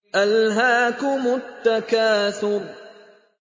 أَلْهَاكُمُ التَّكَاثُرُ